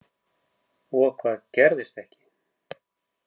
Og hvað gerðist ekki.